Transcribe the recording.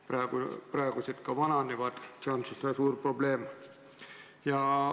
Praegused arstid vananevad ja see on ka suur probleem.